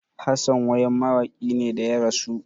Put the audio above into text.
Hassan wayam mawakin ne da ya rasu